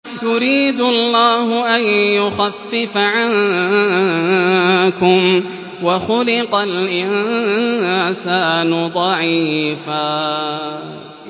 يُرِيدُ اللَّهُ أَن يُخَفِّفَ عَنكُمْ ۚ وَخُلِقَ الْإِنسَانُ ضَعِيفًا